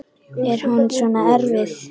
Er hún svona erfið?